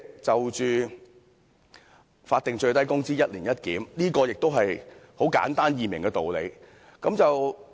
就法定最低工資"一年一檢"，這也是很簡單易明的道理。